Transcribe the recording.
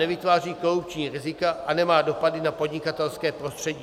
Nevytváří korupční rizika a nemá dopad na podnikatelské prostředí.